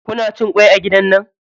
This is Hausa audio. Kuna cin kwai a gidan nan?